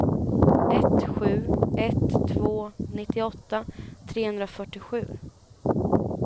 ett sju ett två nittioåtta trehundrafyrtiosju